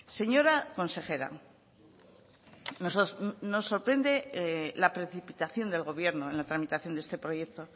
señora consejera nos sorprende la precipitación del gobierno en la tramitación de este proyecto